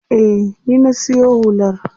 Eh, ni na siyo hular.